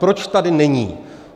Proč tady není?